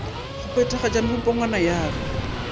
go phethagatpa mepongwana ya ka